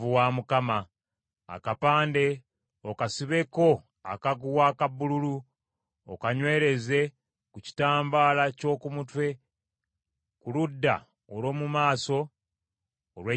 Akapande okasibeko akaguwa aka bbululu, okanywereze ku kitambaala ky’oku mutwe ku ludda olw’omu maaso olw’ekitambaala.